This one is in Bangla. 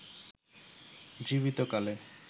জীবিত কালে